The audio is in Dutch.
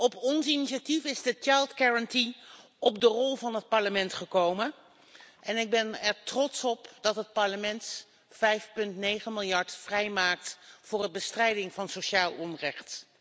Op ons initiatief is de Kindergarantie op de rol van het Parlement gekomen. Ik ben er trots op dat het Parlement 5,9 miljard euro vrijmaakt voor de bestrijding van sociaal onrecht.